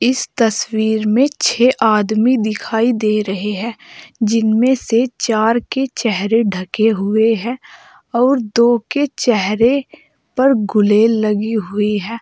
इस तस्वीर में छह आदमी दिखाई दे रहे हैं जिनमें से चार के चेहरे ढके हुए हैं और दो के चेहरे पर गुलेल लगी हुई है।